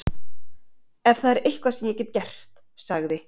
Ef það er eitthvað sem ég get gert- sagði